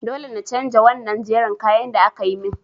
Dole na chanja wannan jerin kayan da akayi min.